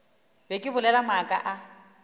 be ke bolela maaka a